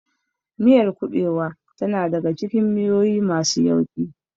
Miyar kuɓewa tana daka cikin miyoyi masu yauƙi.